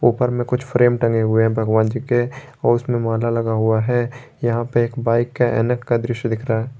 उपर में कुछ फ्रेम टंगे हुए हैं भगवान जी के और उसमें माला लगा हुआ है यहां पे एक बाइक का ऐनक का दृश्य दिख रहा है।